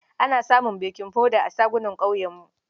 Ana samun bakin hoda a shuganan ƙauyenmu.